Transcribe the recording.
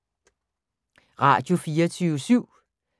Radio24syv